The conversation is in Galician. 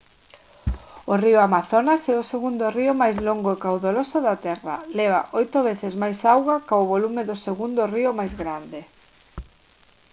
o río amazonas é o segundo río máis longo e caudaloso da terra leva 8 veces máis auga ca o volume do segundo río máis grande